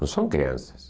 Não são crianças.